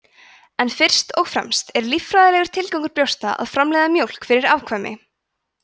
en fyrst og fremst er líffræðilegur tilgangur brjósta að framleiða mjólk fyrir afkvæmi